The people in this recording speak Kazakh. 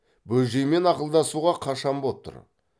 бөжеймен ақылдасуға қашан боп тұр